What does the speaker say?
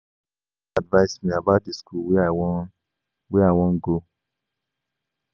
My pastor advice me about the school wey I wan wey I wan go